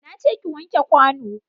Na ce ki wanke kwano.